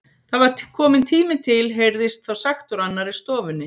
Það var kominn tími til heyrðist þá sagt úr annarri stofunni.